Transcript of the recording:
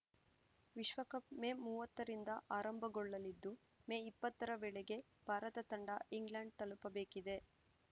ವಿಶ್ವಕಪ್‌ ಮೇ ಮೂವತ್ತರಿಂದ ಆರಂಭಗೊಳ್ಳಲಿದ್ದು ಮೇ ಇಪ್ಪತ್ತರ ವೇಳೆಗೆ ಭಾರತ ತಂಡ ಇಂಗ್ಲೆಂಡ್‌ ತಲುಪಬೇಕಿದೆ